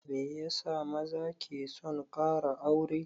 Meyasa maza ke son ƙara aure?